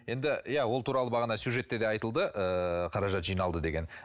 енді иә ол туралы бағана сюжетте де айтылды ыыы қаражат жиналды деген